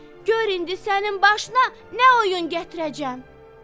"Gör indi sənin başına nə oyun gətirəcəm!"